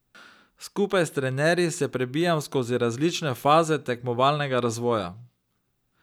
Skupaj s trenerji se prebijam skozi različne faze tekmovalnega razvoja.